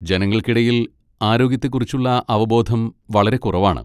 ജനങ്ങൾക്കിടയിൽ ആരോഗ്യത്തെക്കുറിച്ചുള്ള അവബോധം വളരെ കുറവാണ്.